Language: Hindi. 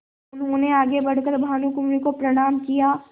उन्होंने आगे बढ़ कर भानुकुँवरि को प्रणाम किया